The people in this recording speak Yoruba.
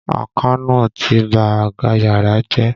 Àkànó ti ba àga yàrá jẹ́.